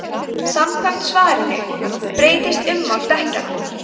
samkvæmt svarinu breytist ummál dekkjanna